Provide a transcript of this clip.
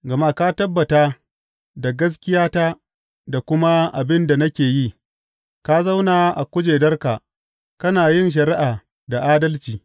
Gama ka tabbata da gaskiyata da kuma abin da nake yi; ka zauna a kujerarka, kana yin shari’a da adalci.